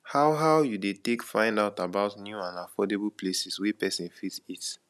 how how you dey take find out about new and affordable places wey pesin fit eat